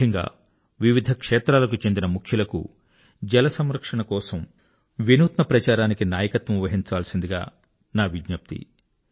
ముఖ్యంగా వివిధ క్షేత్రాలకు చెందిన ముఖ్యులకు జలసంరక్షణ కొరకు ఇన్నోవేటివ్ క్యాంపెయిన్స్ కు నాయకత్వం వహించాల్సిందిగా నా విజ్ఞప్తి